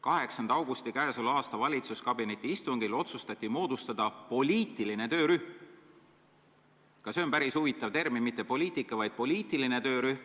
8. augustil peetud valitsuskabineti istungil otsustati moodustada poliitiline töörühm – see on päris huvitav termin, mitte poliitika-, vaid poliitiline töörühm.